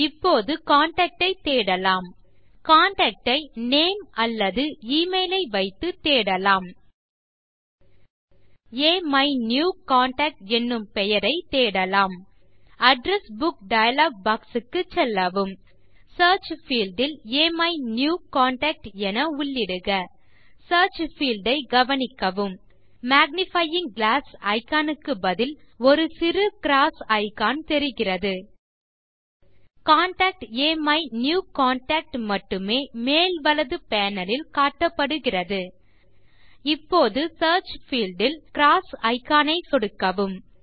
இப்போது ஒரு கான்டாக்ட் ஐ தேடலாம் கான்டாக்ட் ஐ நேம் அல்லது எமெயில் ஐ வைத்து தேடலாம் அமிநியூகன்டாக்ட் என்னும் பெயரை தேடலாம் அட்ரெஸ் புக் டயலாக் பாக்ஸ் க்கு செல்லவும் சியர்ச் பீல்ட் இல் அமிநியூகன்டாக்ட் என உள்ளிடுக சியர்ச் பீல்ட் ஐ கவனிக்கவும் மேக்னிஃபையிங் கிளாஸ் இக்கான் க்கு பதில் ஒரு சிறு க்ராஸ் இக்கான் தெரிகிறது கான்டாக்ட் அமிநியூகன்டாக்ட் மட்டுமே மேல் வலது பேனல் இல் காட்டப்படுகிறது இப்போது சியர்ச் பீல்ட் இல் க்ராஸ் இக்கான் ஐ சொடுக்கவும்